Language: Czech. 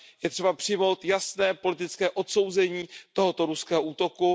Je třeba přijmout jasné politické odsouzení tohoto ruského útoku.